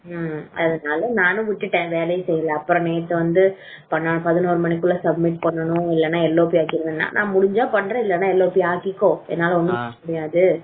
ம் அதனால நானும் விட்டுட்டேன் வேலையை செய்யல அப்றமேட்டு வந்து பதினோரு மணிக்கு உள்ள submit பண்ணனும் இல்லனா LLP ஆக்கிருவேணு சொன்னா நான் முடிஞ்சா பண்றேன் இல்லனா LLP ஆக்கிக்கோ என்னால ஒன்னும் பண்ண முடியாது